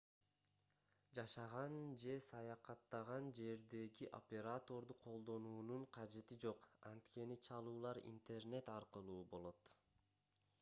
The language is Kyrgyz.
жашаган же саякаттаган жердеги операторду колдонуунун кажети жок анткени чалуулар интернет аркылуу болот